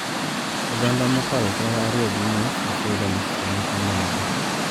Oganda mokalo tara ariyo gi nus oseyudo masiche ma kamago